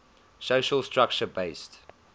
social structure based